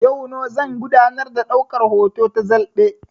Yau no zan gudanar da daukar hoto ta zalɓe